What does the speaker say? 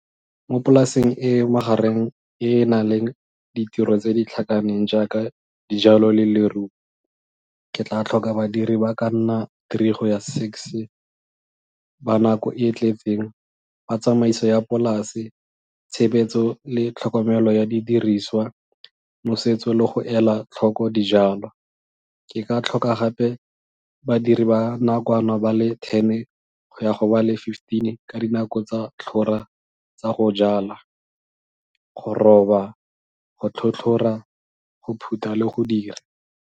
Mo polaseng e e magareng e e nang le ditiro tse di tlhakaneng jaaka dijalo le leruo, ke tla tlhoka badiri ba ka nna three go ya six ba nako e e tletseng ba tsamaiso ya polase, tshebetso le tlhokomelo ya didiriswa, nosetso le go ela tlhoko dijalo. Ke ka tlhoka gape badiri ba nakwana ba le ten go ya go ba le fifteen ka dinako tsa tsa go jala, go roba, go tlhotlhora, go phutha le go dira.